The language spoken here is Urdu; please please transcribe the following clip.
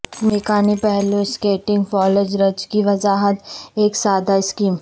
میکانی پہلو سکیٹنگ فالج رج کی وضاحت ایک سادہ سکیم